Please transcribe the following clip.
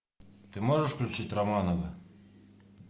ты можешь включить романовы